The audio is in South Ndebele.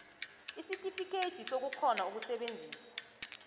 isitifikhethi sokukghona ukusebenzisa